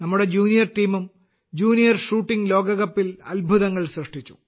നമ്മുടെ ജൂനിയർ ടീമും junior shooting ലോകകപ്പിൽ അത്ഭുതങ്ങൾ സൃഷ്ടിച്ചു